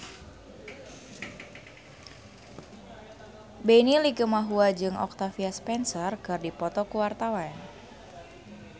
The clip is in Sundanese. Benny Likumahua jeung Octavia Spencer keur dipoto ku wartawan